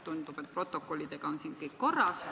Tundub, et protokollidega on siin kõik korras.